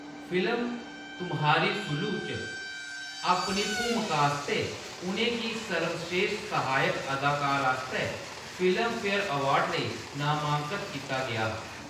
Film Tumhari Sulu च अपनी भूमका आस्तै उ`नेंगी सर्वस्रेश्ठ सहायक अदाकार आस्तै फिल्मफेयर अवार्ड लेई नामांकत कीता गेआ हा।